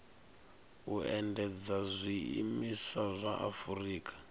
u endedza zwiimiswa zwa afurika